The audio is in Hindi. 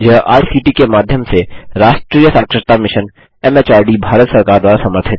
यह आई सी टी के माध्यम से राष्ट्रीय साक्षरता mission M H R D Bharat सरकार द्वारा समर्थित है